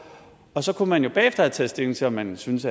så kunne man jo bagefter have taget stilling til om man syntes